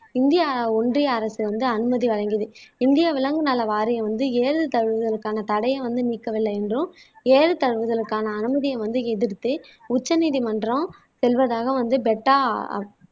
India ஒன்றிய அரசு வந்து அனுமதி வழங்கியது இந்திய விலங்கு நல வாரியம் வந்து ஏறுதழுவுதலுக்கான தடையை வந்து நீக்கவில்லை என்றும் ஏறுதழுவுதலுக்கான அனுமதியை வந்து எதிர்த்து உச்சநீதிமன்றம் செல்வதாக வந்து பெட்டா